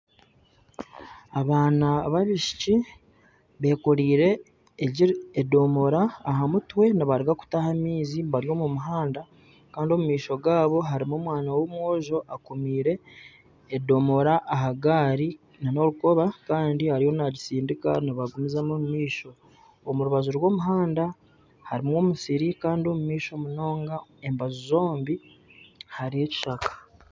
Abaana babaishiki bekoreire edomora aha mutwe nibaruga kutaha amaizi bari omu muhanda kandi omu maisho gaabo harimu omwana w'omwojo akomiire edomora aha gaari nana orukoba kandi ariyo nagisindika nibagumizamu omu maisho omu rubaju rw'omuhanda harimu omusiri kandi omu maisho munonga embaju zombi hariyo ekishaka .